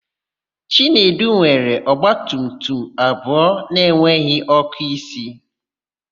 Chinedu nwere ọgbatumtum abụọ na-enweghị ọ́kụ́isi.